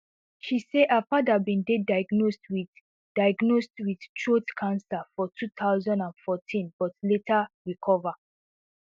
she say her father bin dey diagnosed with diagnosed with throat cancer for two thousand and fourteen but later recover